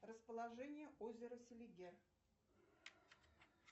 расположение озера селигер